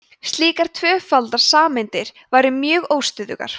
slíkar tvöfaldar sameindir væru mjög óstöðugar